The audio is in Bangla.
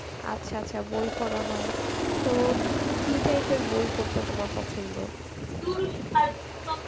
আচ্ছা আচ্ছা বই পড়া হয়. তো কী~ কী type এর বই পড়তে তোমার পছন্দ?